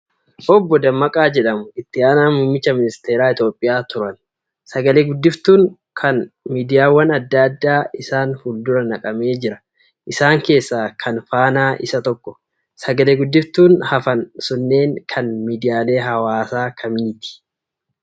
Obbo Dammaqaa jedhamu. Itti Sanaa muummicha ministeeraa Itoophiyaati. Sagalee guddiftuun kan miidiyaawwan adda addaa isaan fuldura naqamee jira. Isaan keessaa kan faanaa isa tokko. Sagalee guddiftuun hafan sunneen kan miidiyaalee hawaasaa kamiiti?